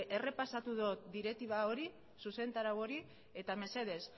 errepasatu dut direktiba hori zuzentarau hori eta mesedez